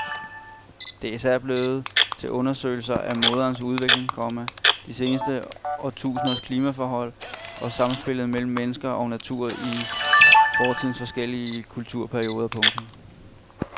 Det er især blevet til undersøgelser af mosernes udvikling, komma de seneste årtusinders klimaforhold og samspillet mellem mennesker og natur i fortidens forskellige kulturperioder. punktum